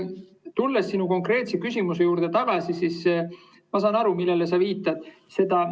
Tulles sinu konkreetse küsimuse juurde, siis ma saan aru, millele sa viitad.